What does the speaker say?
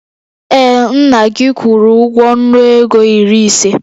Ee, nna gị kwụrụ ụgwọ nnu ego iri ise